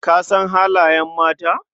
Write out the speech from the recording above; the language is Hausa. Ka san halayen mata?